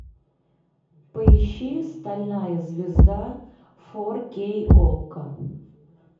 поищи стальная звезда фор кей окко